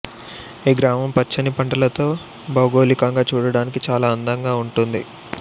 ఈ గ్రామం పచ్చని పంటలతో భౌగోళికంగా చూడటానికి చాలా అందగా ఉంటుంది